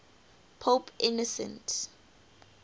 pope innocent